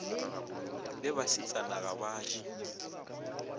le basetsana ga ba je